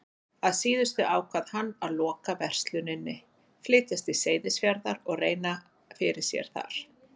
Að síðustu ákvað hann að loka versluninni, flytjast til Seyðisfjarðar og reyna fyrir sér þar.